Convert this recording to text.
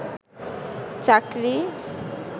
চাকরি